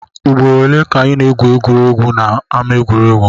Ugboro ole ka ị na-egwu egwuregwu n'ama egwuregwu?